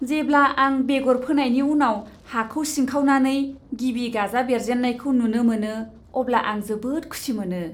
जेब्ला आं बेगर फोनायनि उनाव हाखौ सिंखावनानै गिबि गाजा बेरजेन्नायखौ नुनो मोनो अब्ला आं जोबोद खुसि मोनो।